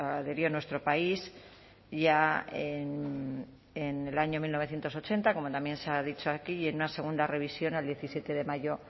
adhirió nuestro país ya en el año mil novecientos ochenta como también se ha dicho aquí en una segunda revisión el diecisiete de mayo